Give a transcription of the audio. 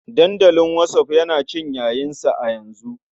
Dandalin whatsapp yana cin yayinsa a yanzu.